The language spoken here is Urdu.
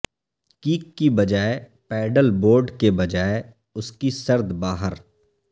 کیک کی بجائے پیڈل بورڈ کے بجائے اس کی سرد باہر